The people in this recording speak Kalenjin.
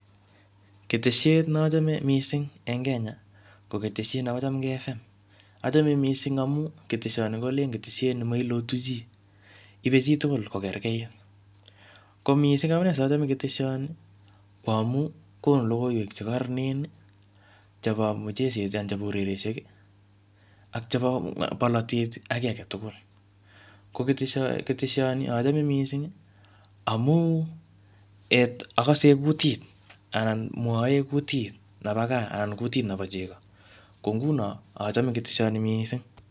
Ketesiet ne achame missing eng Kenya, ko ketesiet nebo Chamgei FM. Achamei missing amu ketesot ni kolen ketesiet ne mailotu chii. Ibeiy chi tugul ko kerekeit. Ko missing amune sachame ketesiaoni, ko amuu konu logoiywek che kararanen chebo mucheset anan chebo urerioshek, ak chebo bolotet ak kiy age tugul. Ko ketesho keteshoni, achome missing amu um akase kutit anan mwae kutit nebo gaa, anan kutit nebo chego. Ko nguno, achame keteshoni missing